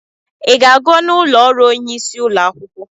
I ga-aga n'ụlọ ọrụ onyeisi ụlọ akwụkwọ?